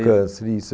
do Câncer, isso.